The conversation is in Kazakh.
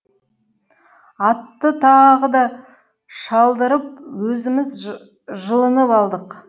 атты тағы да шалдырып өзіміз жылынып алдық